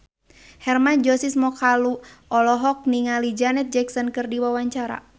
Hermann Josis Mokalu olohok ningali Janet Jackson keur diwawancara